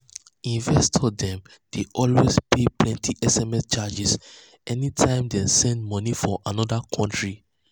investors dem dey um always pay plenty sms charges anytime dem send money um for another country